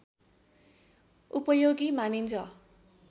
उपयोगी मानिन्छ